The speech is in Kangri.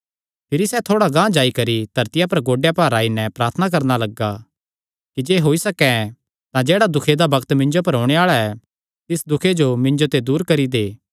भिरी सैह़ थोड़ा गांह जाई करी धरतिया पर गोड्डेयां भार आई नैं प्रार्थना करणा लग्गा कि जे होई सकैं तां जेह्ड़ा दुखे दा बग्त मिन्जो पर ओणे आल़ा ऐ तिस दुखे जो दूर करी दे